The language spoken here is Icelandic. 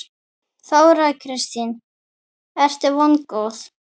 Þóra Kristín: Ertu vongóð?